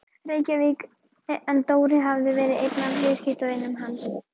Reykjavík en Dóri hafði verið einn af viðskiptavinum hans.